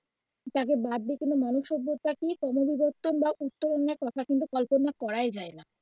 দেখো মানুষের কি? প্রাথমিক অনুবর্তন বা উত্তরাঙ্গের কথা কিন্তু কল্পনা করাই যাই না.